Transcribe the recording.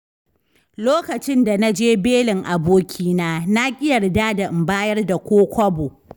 Lokacin da naje belin abokina na ƙi yarda da in bayar da ko kobo.